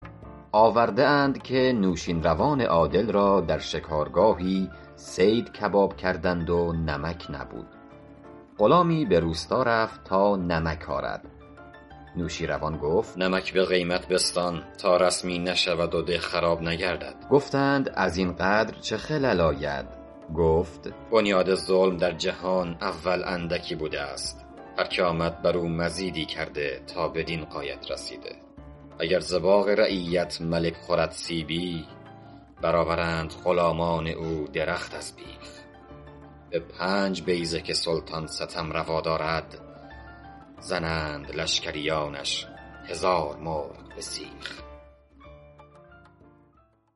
آورده اند که نوشین روان عادل را در شکارگاهی صید کباب کردند و نمک نبود غلامی به روستا رفت تا نمک آرد نوشیروان گفت نمک به قیمت بستان تا رسمی نشود و ده خراب نگردد گفتند از این قدر چه خلل آید گفت بنیاد ظلم در جهان اول اندکی بوده است هر که آمد بر او مزیدی کرده تا بدین غایت رسیده اگر ز باغ رعیت ملک خورد سیبی بر آورند غلامان او درخت از بیخ به پنج بیضه که سلطان ستم روا دارد زنند لشکریانش هزار مرغ به سیخ